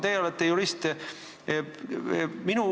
Teie olete jurist.